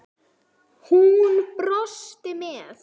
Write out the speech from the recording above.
Hún brosti með